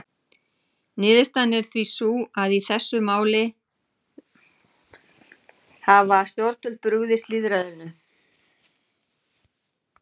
Niðurstaðan er því sú að í þessum máli hafa stjórnvöld brugðist lýðræðinu.